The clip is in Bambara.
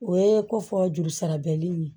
O ye ko fɔ jurusara bɛlin ye